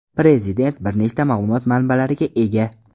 Prezident bir nechta ma’lumot manbalariga ega.